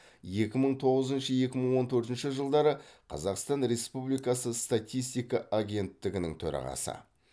екі мың тоғызыншы екі мың он төртінші жылдары қазақстан республикасы статистика агенттігінің төрағасы